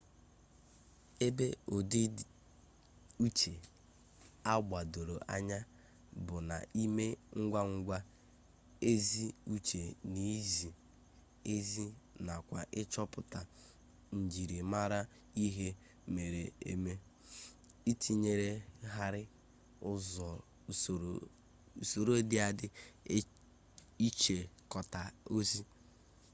ebe udi uche a gbadoro anya bu na ime ngwa ngwa ezi uche na izi ezi nakwa ichoputa nijirimara ihe mere eme itinyeghari usoro di adi ichikota ozi